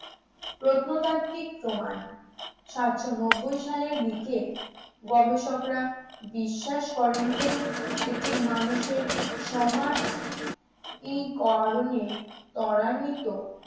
প্রত্নতাত্ত্বিক প্রমাণ সাতশো নব্বই সালের দিকে গবেষকরা বিশ্বাস করেন যে এটি মানুষের সমাজ এর কারণে ত্বরান্বিত